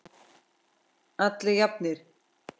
Allir jafnir.